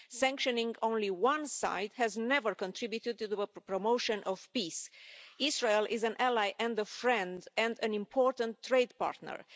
Sanctioning only one side has never contributed to the promotion of peace. Israel is an ally and a friend and an important trade partner.